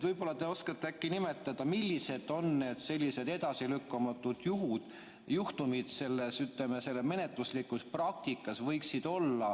Võib-olla te oskate nimetada, millised on need sellised edasilükkamatud juhtumid selles menetluslikus praktikas?